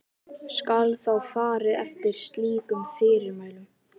Skal þá farið eftir slíkum fyrirmælum.